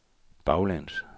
baglæns